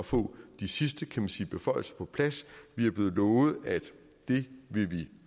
få de sidste kan man sige beføjelser på plads vi er blevet lovet at det vil vi